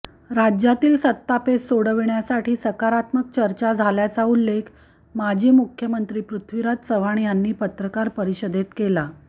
राज्यातील सत्तापेच सोडविण्यासाठी सकारात्मक चर्चा झाल्याचा उल्लेख माजी मुख्यमंत्री पृथ्वीराज चव्हाण यांनी पत्रकार परिषदेत केला